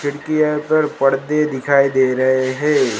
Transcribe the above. खिड़की है पर पर्दे दिखाई दे रहे है।